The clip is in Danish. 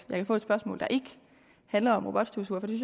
kan få et spørgsmål der ikke handler om robotstøvsugere for det